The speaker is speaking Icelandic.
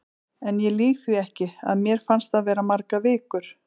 En ég lýg því ekki, að mér fannst það vera margar vikur.